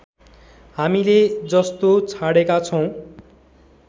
हामीले जस्तो छाडेका छौं